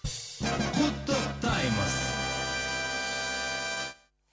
құттықтаймыз